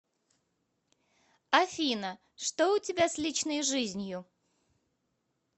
афина что у тебя с личной жизнью